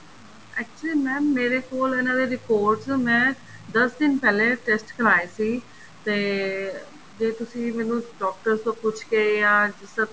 actually mam ਮੇਰੇ ਕੋਲ ਇਹਨਾ ਦੇ reports ਮੈਂ ਦਸ ਦਿਨ ਪਹਿਲੇ test ਕਰਾਏ ਸੀ ਤੇ ਜੇ ਤੁਸੀਂ ਮੈਨੂੰ ਡਾਕਟਰ ਤੋਂ ਪੁੱਛ ਕੇ ਜਾਂ ਜਿਸ ਤਰ੍ਹਾਂ